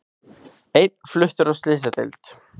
Einn fluttur á slysadeild